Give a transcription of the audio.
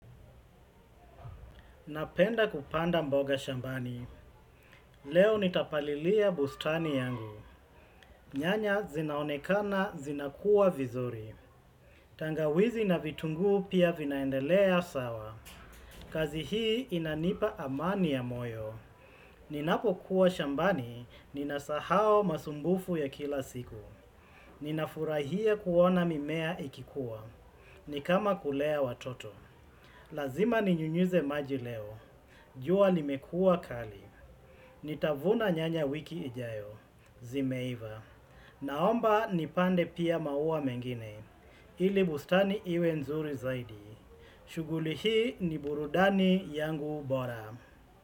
Napenda kupanda mboga shambani. Leo nitapalilia bustani yangu. Nyanya zinaonekana zinakuwa vizuri. Tangawizi na vitungu pia vinaendelea sawa. Kazi hii inanipa amani ya moyo. Ninapokuwa shambani, ninasahau masumbufu ya kila siku. Ninafurahia kuona mimea ikikua. Ni kama kulea watoto. Lazima ninyunyuze maji leo. Jua limekua kali. Nitavuna nyanya wiki ijayo, zimeiva. Naomba nipande pia maua mengine ili bustani iwe nzuri zaidi. Shughuli hii ni burudani yangu bora.